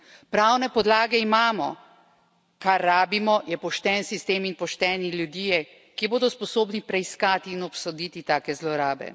Pravne podlage imamo, kar rabimo, je pošten sistem in pošteni ljudje, ki bodo sposobni preiskati in obsoditi take zlorabe.